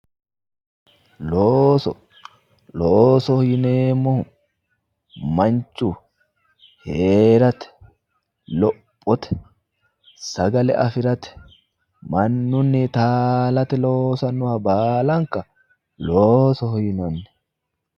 looso loosoho yineemmohu manchu heerate lophote sagale afirate mannuni taalate loosannoha baalanka loosoho yinannanni.